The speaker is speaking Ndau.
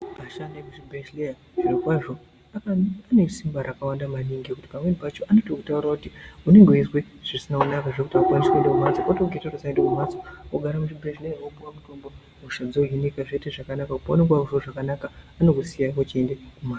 Vashandi vemuzvibhedhlera zviro kwazvo ane simba rakawanda maningi ngekuti pamweni pacho anokutaurira kuti unenge uchizwa zvisina kunaka zvekuti wanokutaurira usaenda kumbatso wogare muchibhehleya wopuwe mutombo hosha dzohinika wonzwa zvakanaka paunenge wonzwa zvakanaka vanokusiya uchienda kumbatso.